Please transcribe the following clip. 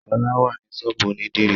Ṣọlá wà ní ṣọ́ọ̀bú ònídìrí